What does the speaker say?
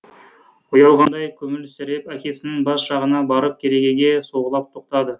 ұялғандай күлімсіреп әкесінің бас жағына барып керегеге соғылып тоқтады